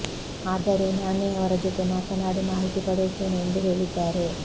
ಆದರೂ ನಾನೇ ಅವರ ಜೊತೆ ಮಾತನಾಡಿ ಮಾಹಿತಿ ಪಡೆಯುತ್ತೇನೆ ಎಂದು ಹೇಳಿದ್ದಾರೆ